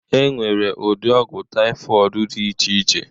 Enwere ụdị ọgwụ typhoid dị iche iche